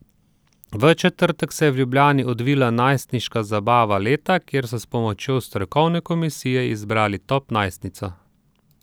V četrtek se je v Ljubljani odvila najstniška zabava leta, kjer so s pomočjo strokovne komisije izbrali top najstnico.